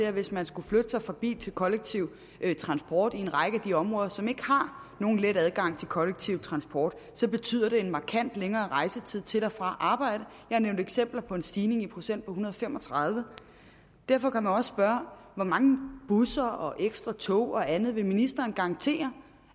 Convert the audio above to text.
at hvis man skal flytte sig fra bil til kollektiv transport i en række af de områder som ikke har nogen let adgang til kollektiv transport så betyder det en markant længere rejsetid til og fra arbejde jeg nævnte eksempler på en stigning i procent på en hundrede og fem og tredive derfor kan man også spørge hvor mange busser og ekstra tog og andet vil ministeren garantere